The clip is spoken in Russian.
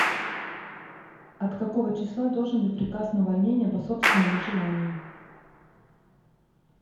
от какого числа должен быть приказ на увольнение по собственному желанию